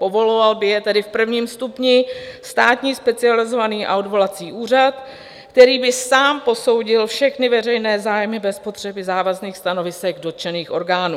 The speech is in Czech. Povoloval by je tedy v prvním stupni Státní specializovaný a odvolací úřad, který by sám posoudil všechny veřejné zájmy bez potřeby závažných stanovisek dotčených orgánů.